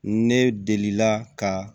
Ne delila ka